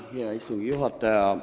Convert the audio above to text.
Hea istungi juhataja!